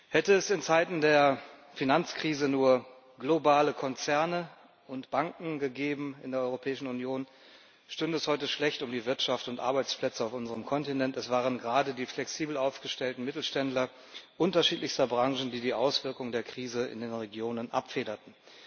Hätte es in Zeiten der Finanzkrise nur globale Konzerne und Banken gegeben in der Europäischen Union, stünde es heute schlecht um die Wirtschaft und die Arbeitsplätze auf unserem Kontinent. Es waren gerade die flexibel aufgestellten Mittelständler unterschiedlichster Branchen, die die Auswirkungen der Krise in den Regionen abfederten.